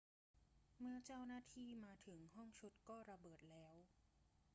เมื่อเจ้าหน้าที่มาถึงห้องชุดก็ระเบิดแล้ว